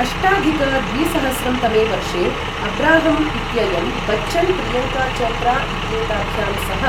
अष्टाधिक द्विसहस्रं तमे वर्षे अब्राहम् इत्ययं बच्चन् प्रियङ्का चोप्रा इत्येताभ्यां सह